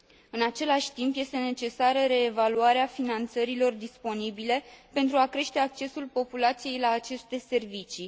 În același timp, este necesară reevaluarea finanțărilor disponibile, pentru a crește accesul populației la aceste servicii.